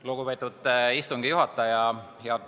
Lugupeetud istungi juhataja!